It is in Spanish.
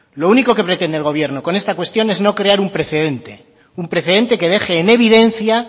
lo único que pretende el gobierno con esta cuestión es no crear un precedente un precedente que deje en evidencia